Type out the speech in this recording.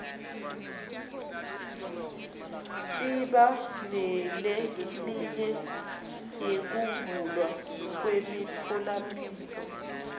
siba neleminye yekuvulwa kwemitfolamphilo